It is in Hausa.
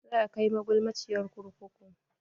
Za a kai magulmaciyar kurkuku.